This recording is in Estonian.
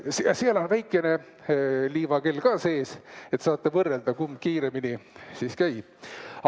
Siin on väikene liivakell ka sees, saate võrrelda, kumb siis kiiremini käib.